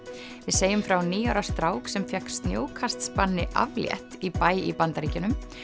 segjum frá níu ára strák sem fékk snjókastsbanni aflétt í bæ í Bandaríkjunum